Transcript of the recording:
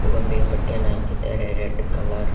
ಗೊಂಬೆಗೆ ಬಟ್ಟೆಯನ್ನು ಹಾಕಿದ್ದಾರೆ red colour --